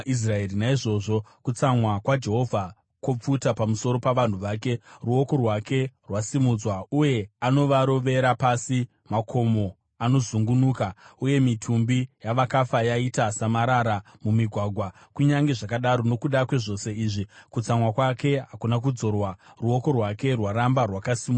Naizvozvo kutsamwa kwaJehovha kwopfuta pamusoro pavanhu vake; ruoko rwake rwasimudzwa uye anovarovera pasi. Makomo anozungunuka, uye mitumbi yavakafa yaita samarara mumigwagwa. Kunyange zvakadaro nokuda kwezvose izvi, kutsamwa kwake hakuna kudzorwa, ruoko rwake rwaramba rwakasimudzwa.